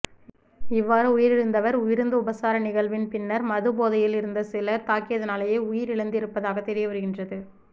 இவ்வாறு உயிரிழந்தவர் விருந்துபசார நிகழ்வின் பின்னர் மது போதையில் இருந்த சிலர் தாக்கியதனாலேயே உயிரிழந்திருப்பதாக தெரியவருகின்றது